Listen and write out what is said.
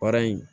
Baara in